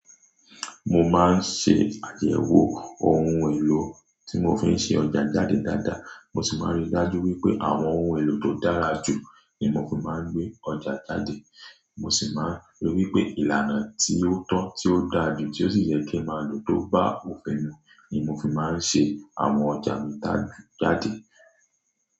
Mo máa ń ṣe àyẹwó ohun èlò tí mo fi ń ṣe ọjà jáde dáadáa. Mo sì máa ń ríi dájú wípé àwọn ohun èlò tó dára jù ní mo fi máa ń gbé ọjà jáde. Mo sì máa ń rí i wípé ìlànà tí ó tọ́, tí ó dáa jù, tí ó sì yẹ kí ó máa lò tó bá òfin mú ní mo fi máa ń ṣe àwọn ọjà mi jáde.